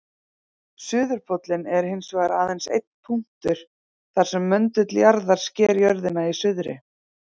Suðurpóllinn er hins vegar aðeins einn punktur þar sem möndull jarðar sker jörðina í suðri.